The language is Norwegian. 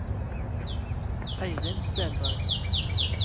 Eirin Stenberg